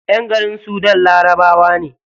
Ƴan garin sudan larabawa ne.